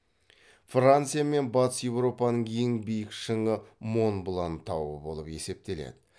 франция мен батыс еуропаның ең биік шыңы монблан тауы болып есептеледі